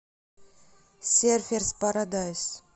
серферс парадайс